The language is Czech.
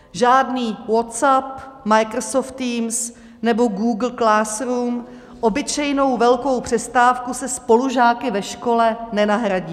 Žádný WhatsApp, Microsoft Teams nebo Google Classroom obyčejnou velkou přestávku se spolužáky ve škole nenahradí.